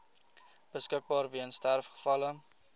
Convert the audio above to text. beskikbaar weens sterfgevalle